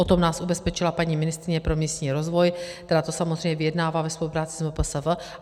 O tom nás ubezpečila paní ministryně pro místní rozvoj, která to samozřejmě vyjednává ve spolupráci s MPSV.